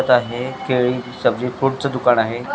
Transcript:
आहे केळी सब्जी फ्रुट ची दुकान आहे.